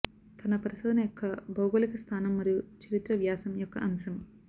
తన పరిశోధన యొక్క భౌగోళిక స్థానం మరియు చరిత్ర వ్యాసం యొక్క అంశం